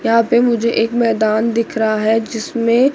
यहां पर मुझे एक मैदान दिख रहा है जिसमें--